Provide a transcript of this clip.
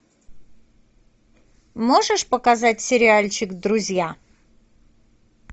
можешь показать сериальчик друзья